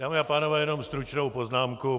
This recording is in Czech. Dámy a pánové, jenom stručnou poznámku.